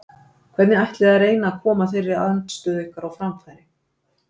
Hvernig ætlið þið að reyna að koma þeirri andstöðu ykkar á framfæri?